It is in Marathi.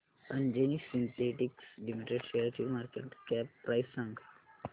अंजनी सिन्थेटिक्स लिमिटेड शेअरची मार्केट कॅप प्राइस सांगा